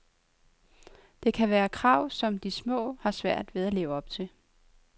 Det kan være et krav, som de små har svært ved at leve op til.